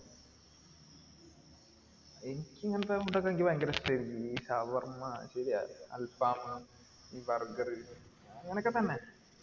എനിക്ക് ഇങ്ങനത്തെ food ഒക്കെ ഭയങ്കര ഇഷ്ടായിരിക്കും ഈ ഷവർമ ശരിയാ അൽഫാമ ഈ ബർഗർ അങ്ങനൊക്കെ തന്നെ